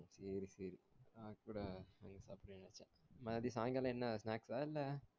சேரி சேரி ந கூட நேத்து சாய்ங்காலம் என்ன snacks ஆஹ் என்ன